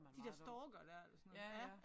De der stalkere der eller sådan noget ja